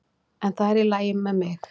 En það er í lagi með mig.